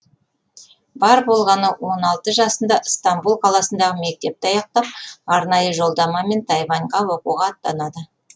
бар болғаны он алты жасында ыстамбұл қаласындағы мектепті аяқтап арнайы жолдамамен тайваньға оқуға аттанады